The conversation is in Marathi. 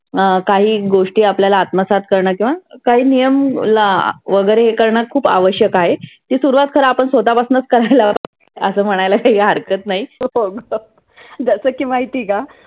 अं काही गोष्टी आपल्याला आत्मसात करण किंवा काही नियम ला वगैरे हे करण खुप आवश्यक आहे. ती सुरुवात खरं आपण स्वतः पसनंच करायला हवी. असं म्हणायला काही हरकत नाही. जस की महिती आहे का?